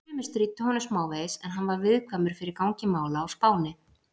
Sumir stríddu honum smávegis, en hann var viðkvæmur fyrir gangi mála á Spáni.